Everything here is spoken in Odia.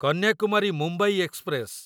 କନ୍ୟାକୁମାରୀ ମୁମ୍ବାଇ ଏକ୍ସପ୍ରେସ